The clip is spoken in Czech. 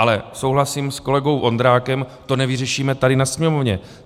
Ale souhlasím s kolegou Vondrákem, to nevyřešíme tady na Sněmovně.